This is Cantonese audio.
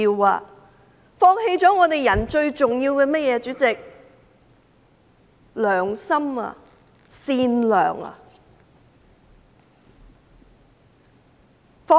他們放棄了做人最重要的甚麼呢？